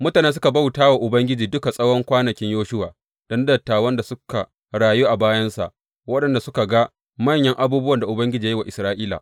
Mutane suka bauta wa Ubangiji duk tsawon kwanakin Yoshuwa da na dattawan da suka rayu bayansa waɗanda suka ga manyan abubuwan da Ubangiji ya yi wa Isra’ila.